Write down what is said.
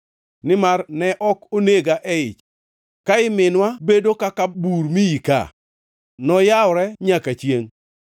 Nimar ne ok onega e ich, ka ii minwa bedo kaka bur miika, noyawre nyaka chiengʼ.